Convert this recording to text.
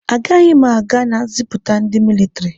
A gaghị m aga na ziputa ndị militiri